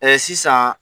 sisan